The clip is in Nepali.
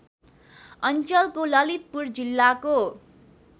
अञ्चलको ललितपुर जिल्लाको